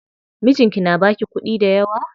Mijinki na baki kuɗi dayawa?